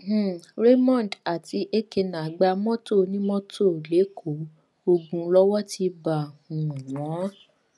um raymond àti èkéná gba mọtò onímọtò lẹkọọ ogun lowó ti bá um wọn